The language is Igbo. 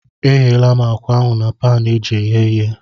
Egheela m ákwà ahụ na paanụ eji eghe ihe.